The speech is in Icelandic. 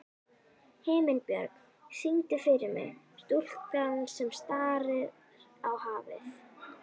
Himinbjörg, syngdu fyrir mig „Stúlkan sem starir á hafið“.